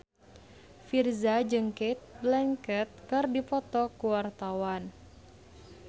Virzha jeung Cate Blanchett keur dipoto ku wartawan